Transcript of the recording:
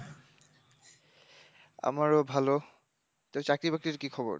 আমারও ভালো, তো চাকরি বাকরির কি খবর?